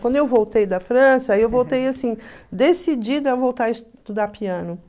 Quando eu voltei da França, eu voltei assim, decidida a voltar a estudar piano.